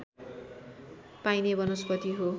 पाइने वनस्पति हो